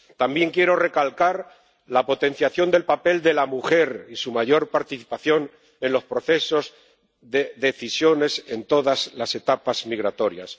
También quiero recalcar la potenciación del papel de la mujer y su mayor participación en los procesos de decisiones en todas las etapas migratorias.